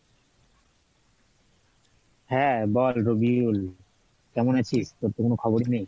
হ্যাঁ বল রবিউল, কেমন আছিস? তোর তো কোনো খবরই নেই।